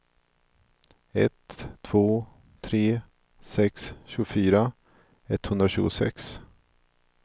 ett två tre sex tjugofyra etthundratjugosex